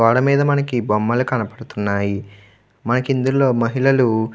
గోడ మీద మనకి బొమ్మలు కనబడుతున్నాయి. మనకు ఇందులో మహిళలు --